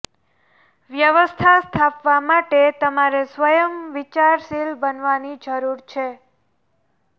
વ્યવસ્થા સ્થાપવા માટે તમારે સ્વયં વિચારશીલ બનવાની જરૂર છે